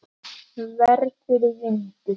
Verður vindur.